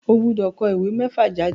O gbọdọ̀ kọ òwe mẹ́fà jáde.